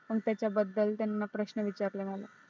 मग त्याच्याबद्दल त्यांनी प्रश्न विचारले मला